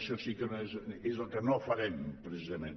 això sí que és el que no farem precisament